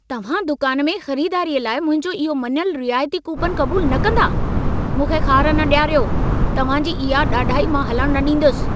तव्हां दुकान में ख़रिदारीअ लाइ मुंहिंजो इहो मञलु रिआयती कूपनु क़बूलु न कंदा? मूंखे ख़ार न ॾियारो, तव्हां जी इहा ॾाढाई मां हलणु न ॾींदसि।